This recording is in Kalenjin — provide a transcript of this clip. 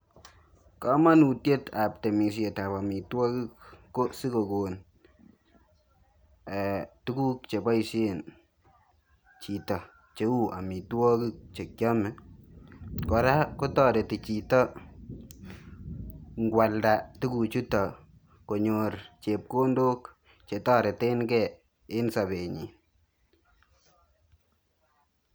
Kamanutiet ab temisiet ab amitwagiik ko sigokoon eeh tuguuk che baisheen chitoo che uu amitwagiik chekyame kora kotaretiin chitoo ingoyalda tuguuk chutoon konyoor chepkondook che tareteen gei en sabenyiin.